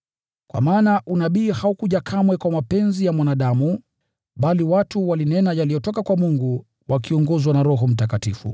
Kwa maana unabii haukuja kamwe kwa mapenzi ya mwanadamu, bali watu walinena yaliyotoka kwa Mungu wakiongozwa na Roho Mtakatifu.